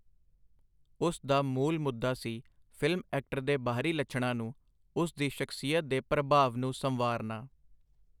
ਉਸ ਦਾ ਮੂਲ-ਮੁੱਦਾ ਸੀ, ਫਿਲਮ ਐਕਟਰ ਦੇ ਬਾਹਰੀ ਲੱਛਣਾਂ ਨੂੰ, ਉਸ ਦੀ ਸ਼ਖਸੀਅਤ ਦੇ ਪ੍ਰਭਾਵ ਨੂੰ ਸੰਵਾਰਨਾ.